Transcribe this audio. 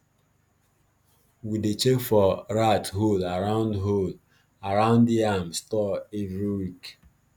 we dey check for rat hole around hole around yam store every week